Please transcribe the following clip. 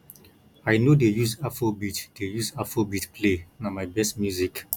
i no dey use afrobeat dey use afrobeat play na my best music